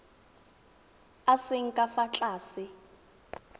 a seng ka fa tlase